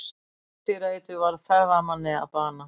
Skordýraeitur varð ferðamanni að bana